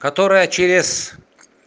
которая через